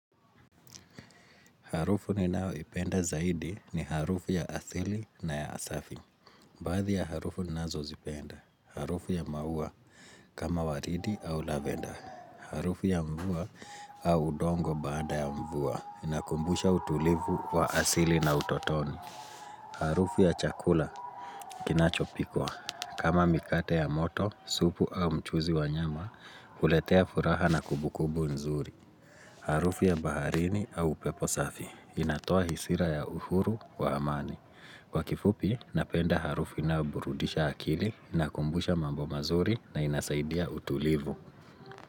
Harufu ninao ipenda zaidi ni harufu ya asili na ya asafi. Baadhi ya harufu ninazozipenda, harufu ya maua kama waridi au lavender. Harufu ya mvua au udongo baada ya mvua. Inakumbusha utulivu wa asili na utotoni. Harufu ya chakula, kinachopikwa. Kama mikate ya moto, supu au mchuzi wa nyama, uletea furaha na kubukubu nzuri. Harufu ya baharini au upepo safi, inatoa hisira ya uhuru wa amani. Kwa kifupi, napenda harufu inayo burudisha akili, inakumbusha mambo mazuri na inasaidia utulivu.